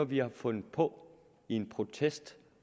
vi har fundet på i en protest